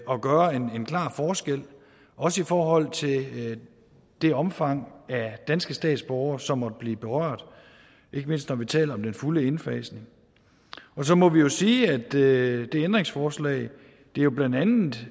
at gøre en klar forskel også i forhold til det omfang af danske statsborgere som måtte blive berørt ikke mindst når vi taler om den fulde indfasning og så må vi sige at det ændringsforslag blandt andet